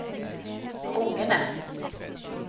rungende